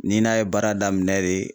N'i n'a ye baara daminɛ de